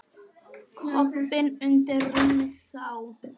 Koppinn undir rúmi sá.